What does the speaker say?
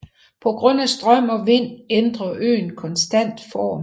På grund af strøm og vind ændrer øen konstant form